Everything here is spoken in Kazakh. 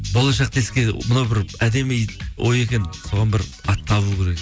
болашақта еске мына бір әдемі ой екен соған бір ат табылу керек